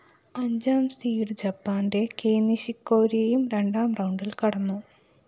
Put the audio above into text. അഞ്ചാം സീഡ്‌ ജപ്പാന്റെ കെയ് നിഷികോരിയും രണ്ടാം റൗണ്ടില്‍ കടന്നു